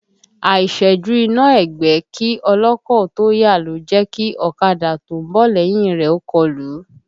Àìṣẹ́jú iná ẹgbẹ́ kí ọlọ́kọ̀ ó tó yà ló jẹ́ kí ọ̀kadà tó ń bọ̀ lẹ́yìn rẹ̀ ó kọlù ú